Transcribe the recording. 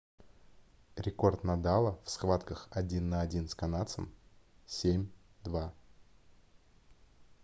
рекорд надала в схватках один на один с канадцем - 7-2